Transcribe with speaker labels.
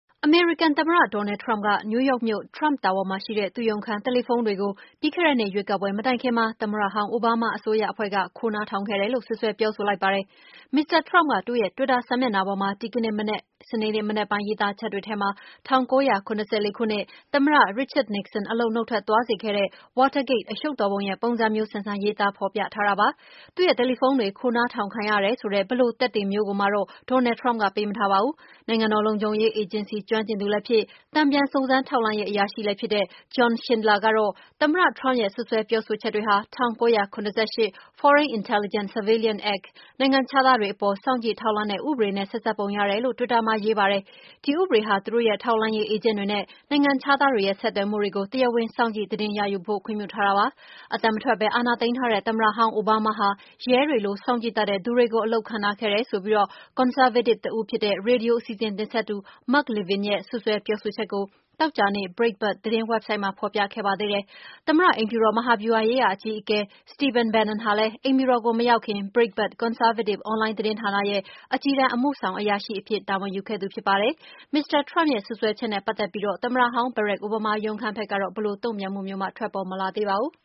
Speaker 1: အမေရိကန်သမ္မတ Donald Trump က New York မြို့ Trump Tower မှာရှိတဲ့ သူ့ရုံးခန်း တယ်လီဖုန်းတွေကို ပြီးခဲ့တဲ့နှစ် ရွေးကောက်ပွဲမတိုင်ခင်မှာ သမ္မတဟောင်း အိုဘားမားရဲ့ အစိုးရအဖွဲ့က ခိုးနားထောင်ခဲ့တယ်လို့ စွပ်စွဲပြောဆို လိုက်ပါတယ်။ Mr Trump က သူ့ရဲ့ တွစ်တာ စာမျက်နှာပေါ်မှာ ဒီကနေ့ စနေနေ့မနက်ပိုင်း ရေးသားချက်တွေထဲမှာ ၁၉၇၄ ခုနှစ်၊ သမ္မတ Richard Nixon အလုပ်က နှုတ်ထွက် သွားစေခဲ့တဲ့ Watergate အရှုပ်တော် ပုံရဲ့ ပုံစံမျိုးဆန်ဆန် ရေးသားဖော်ပြထားတာပါ။ သူ့ရဲ့တယ်လီဖုန်းတွေ ခိုးနားထောင်ခံရတယ်ဆိုတဲ့ ဘယ်လို သက်သေမျိုးကိုမှတော့ Donald Trump ကပေး မထားပါဘူး။ နိုင်ငံတော်လုံခြုံရေး အေဂျင်စီ ကျွမ်းကျင်သူ လည်းဖြစ်၊ တန်ပြန် စုံစမ်းထောက်လှမ်းရေး အရာရှိလည်းဖြစ်တဲ့ John Schindler ကတော့ သမ္မတ Trump ရဲ့ စွပ်စွဲပြော ဆိုချက်တွေဟာ ၁၉၇၈ Foreign Intelligence Surveillance Act နိုင်ငံခြားသားတွေ အပေါ် စောင့်ကြည့် ထောက်လှမ်းတဲ့ ဥပဒေနဲ့ ဆက်စပ်ပုံ ရတယ်လို့ဆို တွစ်တာ မှာရေးပါတယ်။ ဒီဥပဒေဟာ သူတို့ရဲ့ ထောက် လှမ်းရေးအေးဂျင့်တွေနဲ့ နိုင်ငံခြားသားတွေရဲ့ ဆက်သွယ်မှုတွေကို တရားဝင် စောင့်ကြည့် သတင်း ရယူဖို့ ခွင့်ပြုထားတာ ဖြစ်ပါတယ်။ အသံမထွက်ပဲ အာဏာသိမ်းထားတဲ့ သမ္မတဟောင်း အိုဘားမားဟာ ရဲတွေလို စောင့် ကြည့်တတ်တဲ့ သူတွေကို အလုပ်ခန့် ထားခဲ့တယ်ဆိုပြီး ကွန်ဆာဗေးတစ် တဦးဖြစ်တဲ့. ရေဒီယို အစီအစဉ် တင်ဆက်သူ Mark Levin ရဲ့ စွပ်စွဲပြောဆို ချက်ကို သောကြာနေ့ Brietbart သတင်း ဝက်ဆိုဒ်မှာ ဖော်ပြခဲ့ပါသေးတယ်။ သမ္မတ အိမ်ဖြူတော် မဟာ ဗျူဟာရေးရာ အကြီးအကဲ Stephen Bannon ဟာလည်း အိမ်ဖြူတော်ကို မရောက်ခင် Breitbart ကွန်ဆားဗေးတစ် အွန်လိုင်း သတင်းဌာနရဲ့ အကြီးတန်း အမှုဆောင် အရာရှိအဖြစ် တာဝန်ယူခဲ့တာဖြစ်ပါတယ်။ Mr Trump ရဲ့ စွပ်စွဲချက်နဲ့ ပတ်သက်ပြီး သမ္မတဟောင်း Barak Obama ရုံး ဘက်ကတော့ ဘယ်လို တုန့်ပြန်မှုမျိုးမှ ထွက်ပေါ် မလာသေးပါဘူး။